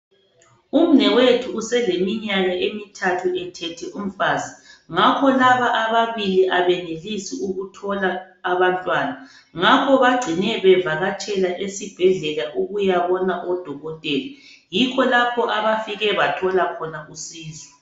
Umnewethu useleminyaka emithathu ethethe umfazi ngakho laba ababili abenelisi ukuthola abantwana ngakho bagcine bevakatshela esibhedlela ukuyabona udokotela yikho abafike bathola khona usizo